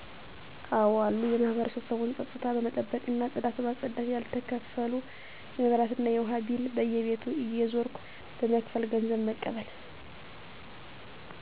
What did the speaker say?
አዎ አሉ የማህበረሰቡን ፀጥታ በመጠበቅ እና ፅዳት በማፅዳት ያልተከፈሉ የመብራት እና የውሃ ቢል በየቤቱ እየዞርኩ በመክፈል ገንዘብ መቀበል